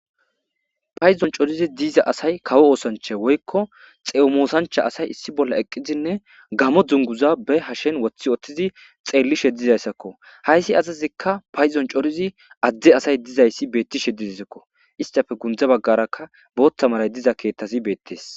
paydon corizi diiza asay kawo oosancha woykko xeemoosancha asay issi bolla eqqizinne gamo dunguza be hashen wothi oththizi xeelli she dizayssakko hayssi azazikka payzon corizi adde asay dizayssi beettishe didizikko istafe gundza baggarakka booththa malay diza keettazi beettees